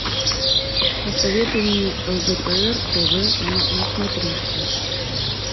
посоветуй мне лдпр тв на смотрешке